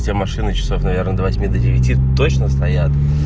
все машины часов наверное до восьми до девяти точно стоят